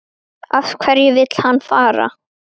Af hverju vill hann fara?